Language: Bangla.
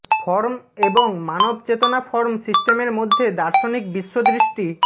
ফর্ম এবং মানব চেতনা ফর্ম সিস্টেমের মধ্যে দার্শনিক বিশ্বদৃষ্টি